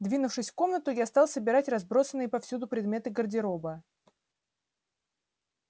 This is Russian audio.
двинувшись в комнату я стал собирать разбросанные повсюду предметы гардероба